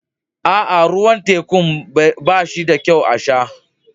Aa, ruwan tekun banyi da kyau a sha.